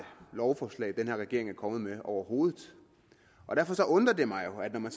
lovforslag den her regering er kommet med overhovedet og derfor undrer det mig jo når man